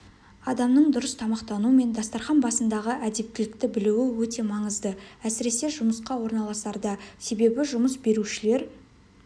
адамның дұрыс тамақтану мен дастарқан басындағы әдептілікті білуі өте маңызды әсіресе жұмысқа орналасарда себебі жұмыс берушілер